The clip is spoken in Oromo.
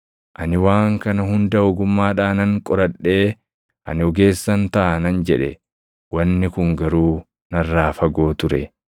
Ani waan kana hunda ogummaadhaanan qoradhee, “Ani ogeessan taʼa” nan jedhe. Wanni kun garuu narraa fagoo ture.